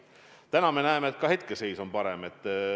Täna me näeme, et hetkeseis on parem.